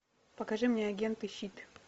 покажи мне агенты щит